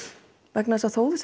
vegna þess að þó þú